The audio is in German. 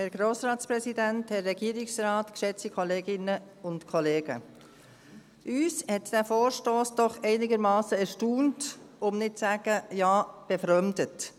Uns hat dieser Vorstoss doch einigermassen erstaunt, um nicht zu sagen befremdet.